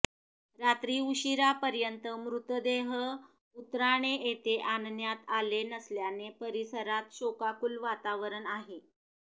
रात्री उशिरापर्यंत मृतदेह उत्राणे येथे आणण्यात आले नसल्याने परिसरात शोकाकुल वातावरण आहे